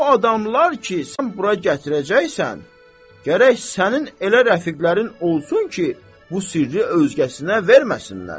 O adamlar ki, sən bura gətirəcəksən, gərək sənin elə rəfiqlərin olsun ki, bu sirri özgəsinə verməsinlər.